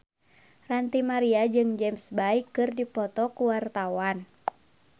Ranty Maria jeung James Bay keur dipoto ku wartawan